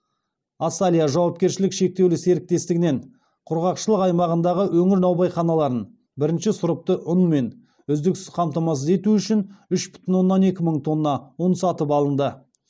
асалия жауапкершілігі шектеулі серіктестігінен құрғақшылық аймағындағы өңір наубайханаларын бірінші сұрыпты ұнмен үздіксіз қамтамасыз ету үшін үш бүтін оннан екі мың тонна ұн сатып алынды